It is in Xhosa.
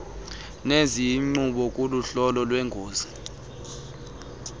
neziyingqobo kuhlolo lweengozi